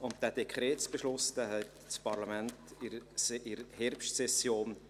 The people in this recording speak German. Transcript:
Dieser Dekretsbeschluss fällte das Parlament in der Herbstsession.